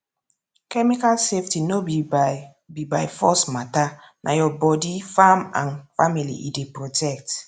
chemical safety no be by be by force matterna your body farm and family e dey protect